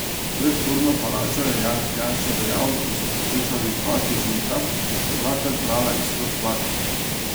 Pred sodno palačo je Janez Janša dejal, da so poslušali dva tožilca, ki sta dvakrat brala isto stvar.